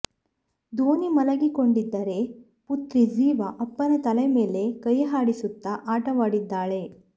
ಧೋನಿ ಮಲಗಿಕೊಂಡಿದ್ದರೆ ಪುತ್ರಿ ಝಿವಾ ಅಪ್ಪನ ತಲೆ ಮೇಲೆ ಕೈಹಾಡಿಸುತ್ತಾ ಆಟವಾಡಿದ್ದಾಳೆ